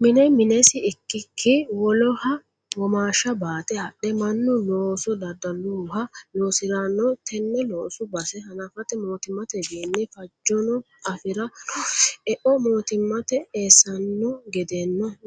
Mine minesi ikkk woloha womaashe baate adhe mannu looso daddaluha loosirano tene loosu base hanafate mootimmatewinni fajono afira noosi, eo mootimmate eessano